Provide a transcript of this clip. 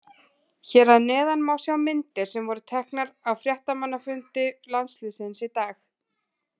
Hér að neðan má sjá myndir sem voru teknar á fréttamannafundi landsliðsins í dag.